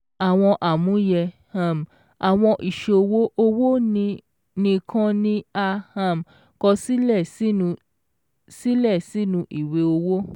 Àwọn àmúyẹ um · Àwọn ìṣòwò owó ní kan ni a um kọ sílè sínú sílè sínú Ìwé Owó ·